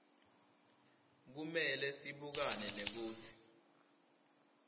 kumele sibukane nekutsi